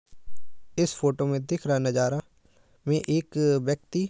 इस फ़ोटो में दिख रहा नजारा में एक व्यक्ति --